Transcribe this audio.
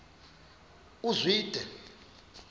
uzwide